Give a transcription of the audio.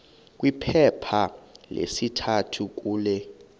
kwiphepha lesithathu kule